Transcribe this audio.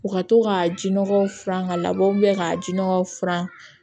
U ka to ka jinɔgɔw furan ka labɔ ka jinɔgɔw furan